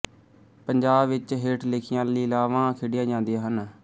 ਪੰਜਾਬ ਵਿੱਚ ਹੇਠ ਲਿਖੀਆਂ ਲੀਲਾਵਾਂ ਖੇਡੀਆਂ ਜਾਂਦੀਆਂ ਹਨ